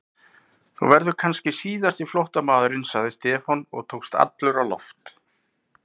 Þú verður kannski síðasti flóttamaðurinn sagði Stefán og tókst allur á loft.